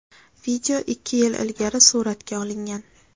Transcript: Video ikki yil ilgari suratga olingan.